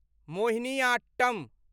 Mohiniyattam